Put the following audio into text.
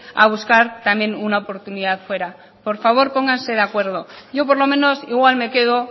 a buscar también una oportunidad fuera por favor pónganse de acuerdo yo por lo menos igual me quedo